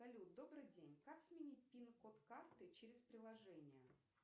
салют добрый день как сменить пин код карты через приложение